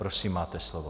Prosím, máte slovo.